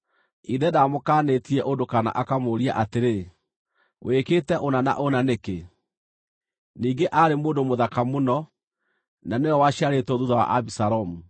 (Ithe ndaamũkaanĩtie ũndũ, kana akamũũria atĩrĩ, “Wĩkĩte ũna na ũna nĩkĩ?” Ningĩ aarĩ mũndũ mũthaka mũno, na nĩwe waciarĩtwo thuutha wa Abisalomu.)